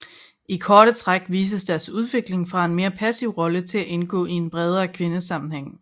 I korte træk vises deres udvikling fra en mere passiv rolle til at indgå i en bredere kvindesammenhæng